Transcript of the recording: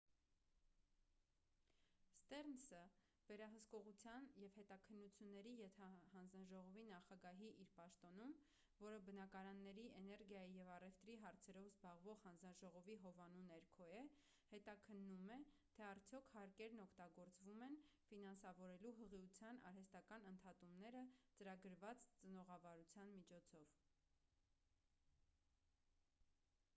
ստերնսը վերահսկողության և հետաքննությունների ենթահանձաժողովի նախագահի իր պաշտոնում որը բնակարանների էներգիայի և առևտրի հարցերով զբաղվող հանձնաժողովի հովանու ներքո է հետաքննում է թե արդյոք հարկերն օգտագործվում են ֆինանսավորելու հղիության արհեստական ընդհատումները ծրագրված ծնողավարության միջոցով